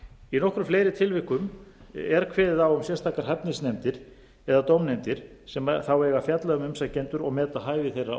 í nokkrum fleiri tilvikum er kveðið á um að sérstakar hæfnisnefndir eða dómnefndir sem þá eiga að fjalla um umsækjendur og meti hæfi þeirra